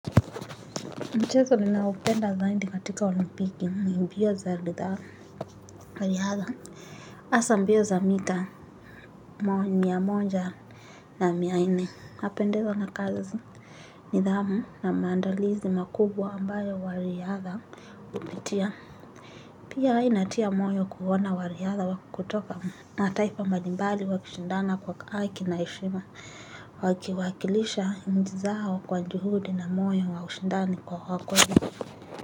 Mchezo ninaoupenda zaidi katika olimpiki ni mbilo za lidhaa, riadha. Hasaa mbio za mita, mia moja na mia nne, napendezwa na kazi. Nidhamu na maandalizi makubwa ambayo wariadha wametia. Pia inatia moyo kuona wariadha wakutoka na mataifa mbalimbali wakishindana kwa haki na heshima. Wakiwakilisha nchi zao kwa juhudi na moyo wa ushindani kwa wakweli.